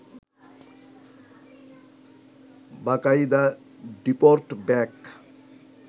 বাকায়দা deport back